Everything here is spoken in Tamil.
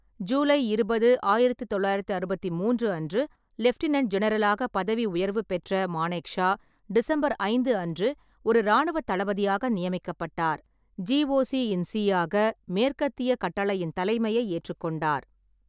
ஜூலை இருபது, ஆயிரத்து தொள்ளாயிரத்து அறுபத்தி மூன்று அன்று லெப்டினென்ட் ஜெனரலாக பதவி உயர்வு பெற்ற மானேக்ஷா டிசம்பர் ஐந்து அன்று ஒரு இராணுவத் தளபதியாக நியமிக்கப்பட்டார், ஜிஓசி-இன்-சி ஆக மேற்கத்திய கட்டளையின் தலைமையை ஏற்றுக்கொண்டார்.